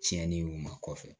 Tiɲɛni y'u ma kɔfɛ